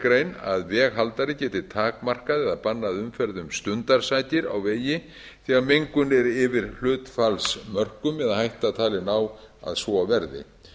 grein að veghaldari geti takmarkað eða bannað umferð um stundarsakir á vegi þegar mengun er yfir hlutfallsmörkum eða hætta talin á að svo verði